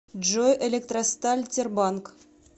джой электросталь тербанк